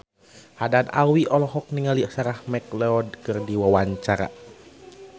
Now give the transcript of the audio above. Haddad Alwi olohok ningali Sarah McLeod keur diwawancara